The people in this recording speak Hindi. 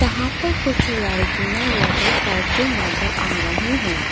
जहां पे कुछ लड़कियां योगा करती नजर आ रही हैं।